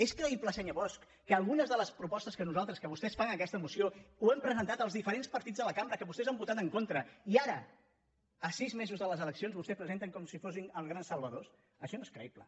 és creïble senyor bosch que algunes de les propostes que vostès fan en aquesta moció les hem presentades els diferents partits de la cambra que vostès han votat en contra i ara a sis mesos de les eleccions vostès presenten com si fossin els grans salvadors això no és creïble